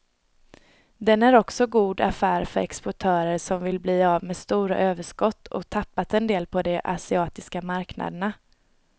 Den är också god affär för exportörer som vill bli av med stora överskott och tappat en del på de asiatiska marknaderna.